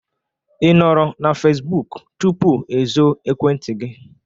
I nọrọ na Fesbụk tupu e zo Ekwentị gị?